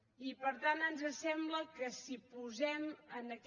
i per tant ens sembla que si posem en aquest